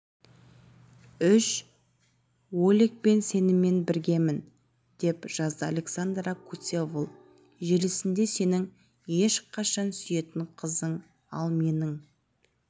ұш олег мен сенімен біргемін деп жазды александра куцевол желісінде сенің ешқашан сүйетін қызың ал менің